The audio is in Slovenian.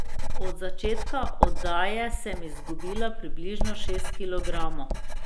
Od začetka oddaje sem izgubila približno šest kilogramov.